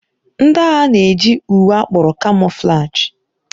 Ndị agha na-eji uwe akpọrọ kamoflaji.